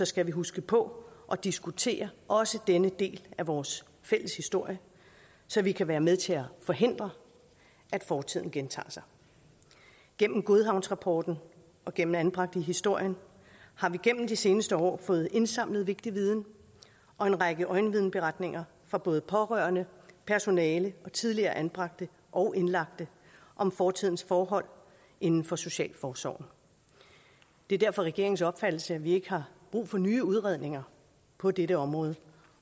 skal vi huske på at diskutere også denne del af vores fælles historie så vi kan være med til at forhindre at fortiden gentager sig gennem godhavnsrapporten og gennem anbragt i historien har vi gennem de seneste år fået indsamlet vigtig viden og en række øjenvidneberetninger fra både pårørende personale og tidligere anbragte og indlagte om fortidens forhold inden for socialforsorgen det er derfor regeringens opfattelse at vi ikke har brug for nye udredninger på dette område